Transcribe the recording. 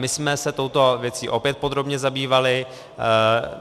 My jsme se touto věcí opět podrobně zabývali.